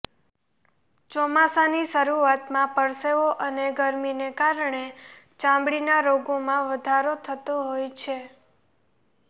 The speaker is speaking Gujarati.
ચોમાસાની શરૂઆતમાં પરસેવો અને ગરમીને કારણે ચામડીના રોગોમાં વધારો થતો હોય છે